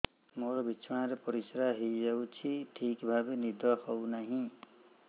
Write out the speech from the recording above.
ମୋର ବିଛଣାରେ ପରିସ୍ରା ହେଇଯାଉଛି ଠିକ ଭାବେ ନିଦ ହଉ ନାହିଁ